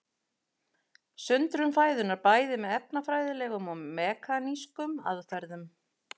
Sundrun fæðunnar bæði með efnafræðilegum og mekanískum aðferðum.